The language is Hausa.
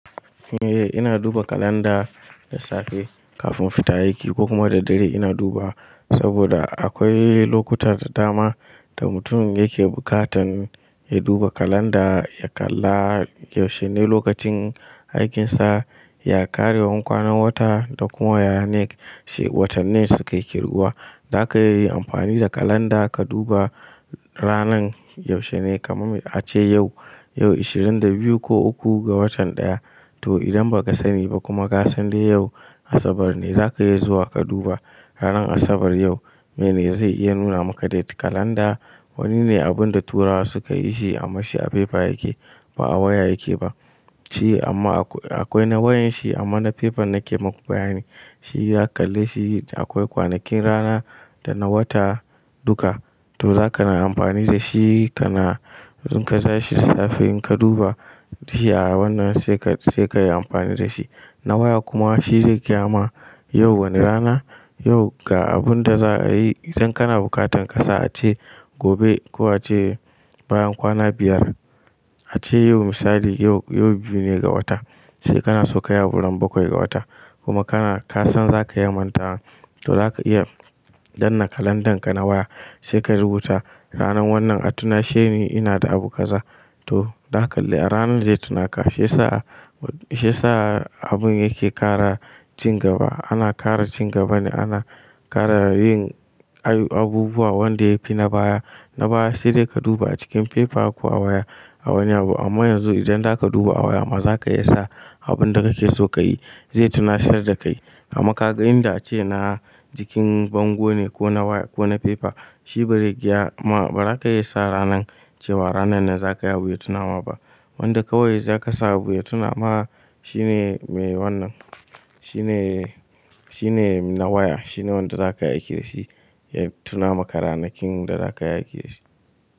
Eh ina duba kalanda da safe kafin fita aiki ko kuma da dare ina duba saboda akwai lokuta da dama da mutum yake bukatan ya duba kalanda ya kalla yaushe ne lokacin aikinsa, ya ƙarewan kwana wata da kuma yaya ne, shi watan ne suke kirɓuwa. Zaka iya yi amfani da kalanda ka duba ranan yaushe ne kamar ace yau, yau ashirin da biyu ko uku ga watan ɗaya to idan ba ka sani ba kuma ka san dai yau asabar ne zaka iya zuwa ka duba ranan asabar yau mene zai iya nuna maka date. Kalanda wani ne abun da turawa suka yi shi amman shi a fefa yake ba a waya yake ba. Shi amma akwai na wayanshi amma na fefan nake muku bayani. Shi ya kalle shi akwai kwanakin rana da na wata duka to zaka na amfani da shi kana zinka sa shi da safe in ka duba shi a wannan sai ka, sai ka yi amfani da shi. Na waya kuma shi zai gyama yau wani rana, yau ga abun da za'a yi idan kana bukatan ka sa ace gobe ko ace bayan kwana biyar. Ace yau misali yau, yau biyu ne ga wata sai kana so ka yi a wurin bakwai ga wata kuma kana, ka san zaka iya manta to zaka iya danna kalandanka na waya sai ka rubuta ranan wannan a tuna shine ina da abu ka za. To zaka kalle ranan zai tuna ka shi yasa, shi yasa abun yake ƙara cin gaba. Ana ƙara cin gaba ne ana ƙara yin ayuk- abubuwa wanda yafi na baya. Na baya shi dai ka duba a cikin fefa ko a waya a wani abu amma yanzu idan zaka duba a waya amma zaka iya sa abun da kake so ka yi zai tuna sayar da kai. Amma ka ga inda ace na jikin bango ne ko na waya ko na fefa shi bai rike ya ma ba za ka iya sa ranan cewa ranan ne za ka ya buya tunawa ba. Wanda kawai zaka sa abu ya tuna ma shine me wannan, shine, shine na waya shine wanda zaka aiki da shi ya tuna maka ranakin da zaka aiki da shi.